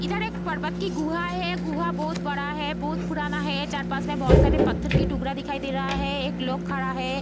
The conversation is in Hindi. इधर एक पर्वत की गुहा है गुहा बहुत बड़ा है बहुत पुराना है चार-पांच में बहुत पत्थर की टुकड़ा है दिखाई दे रहा है एक लोग खड़ा है।